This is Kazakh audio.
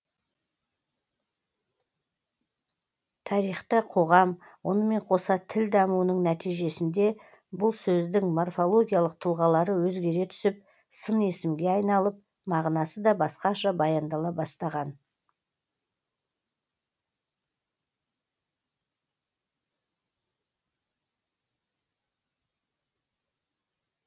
тарихта қоғам онымен қоса тіл дамуының нәтижесінде бұл сөздің морфологиялық тұлғалары өзгере түсіп сын есімге айналып мағынасы да басқаша баяндала бастаған